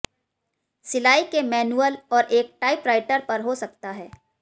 सिलाई के मैन्युअल और एक टाइपराइटर पर हो सकता है